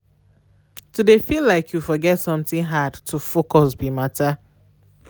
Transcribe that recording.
to de feel like you forget something hard to focus be matter.